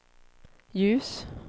ljus